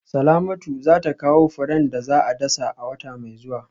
Salamatu za ta kawo furen da za a dasa a wata mai zuwa